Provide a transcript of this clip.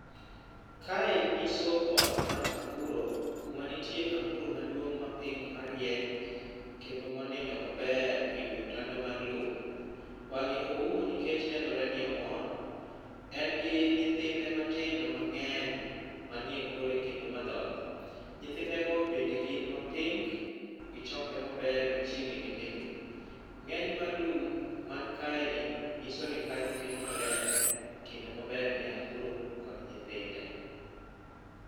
Kae nyiso ot mar anguro kuma nitie anguro maduong' ma pink marieny. Kendo monindo maber e wi otanda mar loo. Wang'e oumo nikech nenore ni omor. En gi nyithinde matindo mang'eny manie kore kendo madhoth. Nyithinde go bende gin ma pink, gichokore maber machiegni gi mingi. Ng'eny mar lum man kae ni nyiso ni kanyo oket maler kendo maber ne anguro kod nyithinde.